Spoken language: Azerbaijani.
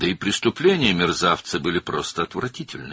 Həm də alçağın cinayətləri sadəcə iyrənc idi.